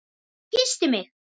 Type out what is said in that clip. Hún kyssti mig!